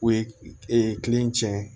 U ye kile in tiɲɛ